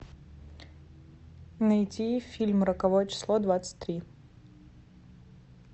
найти фильм роковое число двадцать три